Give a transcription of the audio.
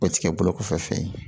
O ti kɛ bolo kɔfɛ fɛn ye